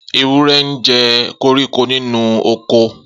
Ewúrẹ́ ńjẹ koríko nínú oko.